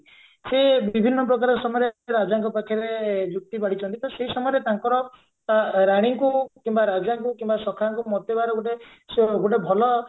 ସେ ବିଭିନ୍ନ ପ୍ରକାର ସମୟରେ ରାଜାଙ୍କ ପାଖରେ ଯୁକ୍ତି ବାଢିଛନ୍ତି ତ ସେଇ ସମୟରେ ତାଙ୍କର ରାଣୀଙ୍କୁ କିମ୍ବା ରାଜାଙ୍କୁ କିମ୍ବା ସଖାଙ୍କୁ ମତେଇବାର ଗୋଟେ ଗୋଟେ ଭଲ